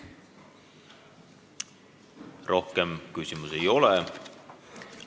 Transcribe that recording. Rohkem küsimusi ei ole.